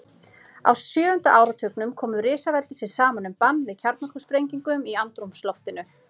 Á sjöunda áratugnum komu risaveldin sér saman um bann við kjarnorkusprengingum í andrúmsloftinu.